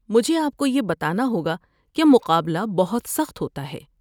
مجھے آپ کو یہ بتانا ہوگا کہ مقابلہ بہت سخت ہوتا ہے۔